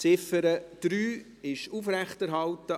Die Ziffer 3 wurde als Motion aufrechterhalten.